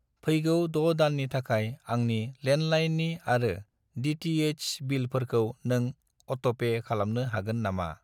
फैगौ 6 दाननि थाखाय आंनि लेन्डलाइननि आरो डि.टि.एइस. नि बिलफोरखौ नों अट'पे खालामनो हागोन नामा?